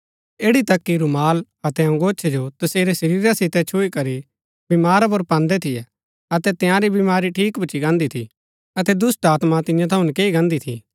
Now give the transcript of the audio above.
ऐड़ी तक कि रूमाल अतै अंगोछै जो तसेरै शरीरा सितै छुई करी बमारा पुर पान्दै थियै अतै तंयारी बमारी ठीक भूच्ची गान्दी थी अतै दुष्‍टात्मा तियां थऊँ नकैई गान्दी थी